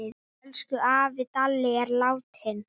Elsku afi Dalli er látinn.